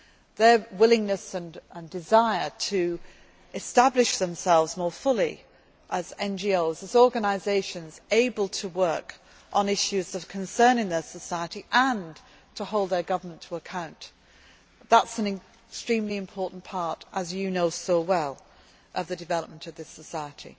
been allowed. Their willingness and desire to establish themselves more fully as NGOs, as organisations able to work on issues of concern in their society and to hold their government to account, that is an extremely important part, as you know so well, of the development of